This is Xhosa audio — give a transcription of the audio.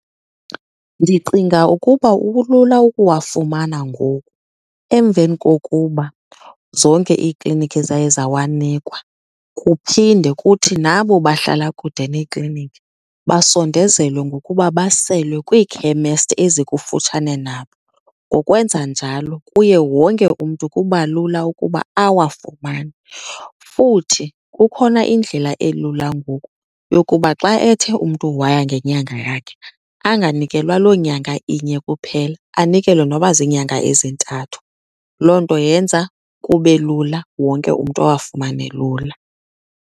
Ndicinga ukuba kulula ukuwafumana ngoku emveni kokuba zonke iikliniki zaye zawanikwa. Kuphinde kuthi nabo bahlala kude neekliniki basondezelwe ngokuba baselwe kwiikhemesti ezikufutshane nabo. Ngokwenza njalo, kuye wonke umntu kuba lula ukuba awafumane. Futhi kukhona indlela elula ngoku yokuba xa ethe umntu waya ngenyanga yakhe anganikelwa loo nyanga inye kuphela, anikelwe noba ziinyanga ezintathu. Loo nto yenza kube lula, wonke umntu awafumane lula.